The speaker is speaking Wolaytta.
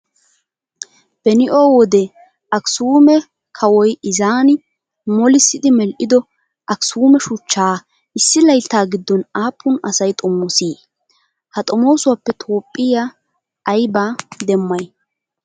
Benoi wode aksuume kawoyi ezaani molissidi medhdhido aksuume shuchchaa issi layittaa giddon aapun asayi xomoosii? Ha xomoosuwaappe Toophphiyaa ayibaa demmayi?